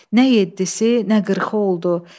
Nə yeddisi, nə qırxı oldu.